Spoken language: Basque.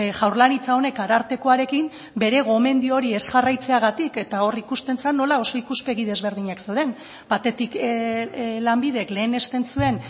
jaurlaritza honek arartekoarekin bere gomendio hori ez jarraitzeagatik eta hor ikusten zen nola oso ikuspegi desberdinak zeuden batetik lanbidek lehenesten zuen